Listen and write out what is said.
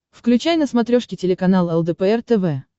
включай на смотрешке телеканал лдпр тв